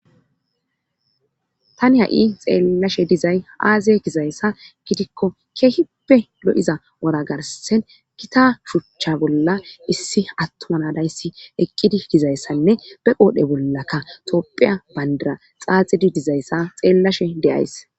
Tani ha'i xeellashe dizay aaziye gizayssa gidikko keehipe lo'iza wora garsen kita shuchcha bolla issi attuma nadayssi eqqidi gizayssanne be qoodhe bollakka topphiya bandira xaaxidi dizayssa xeellashe deyays.